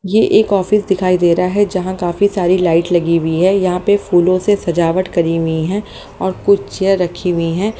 ये एक ऑफिस दिखाई दे रहा है जहां काफी सारी लाइट लगी हुई है यहां पे फूलों से सजावट करी हुई है और कुछ चेयर रखी हुई है।